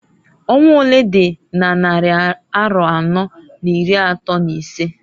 Ọnwa olee dị n' nnarị arọ anọọ n'iri atọọ n'isee?